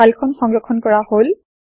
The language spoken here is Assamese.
ফাইল খন সংৰক্ষণ কৰা হল